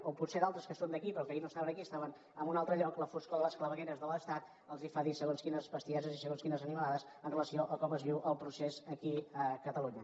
o potser a altres que són d’aquí però que ahir no estaven aquí estaven en un altre lloc la foscor de les clavegueres de l’estat els fa dir segons quines bestieses i segons quines animalades amb relació a com es viu el procés aquí a catalunya